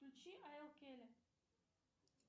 включи а эл келли